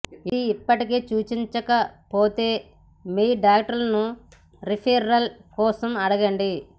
ఇది ఇప్పటికే సూచించబడకపోతే మీ డాక్టర్ను రిఫెరల్ కోసం అడగండి